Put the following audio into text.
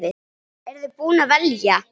Eru þið búin að velja?